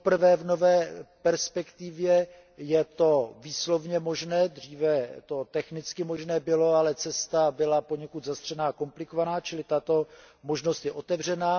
V nové perspektivě je to výslovně možné poprvé, dříve to bylo technicky možné, ale cesta byla poněkud zastřená a komplikovaná, čili tato možnost je otevřená.